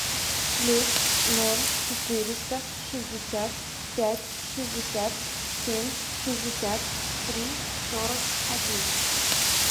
плюс ноль четыреста шестьдесят пять шестьдесят семь шестьдесят три сорок один